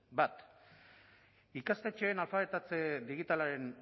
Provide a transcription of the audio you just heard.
bat ikastetxeen alfabetatze digitalaren